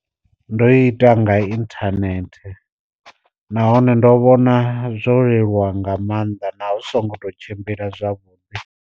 Ndo ita nga inthanethe, nahone ndo vhona zwo leluwa nga maanḓa na hu zwi songo to tshimbila zwavhuḓi.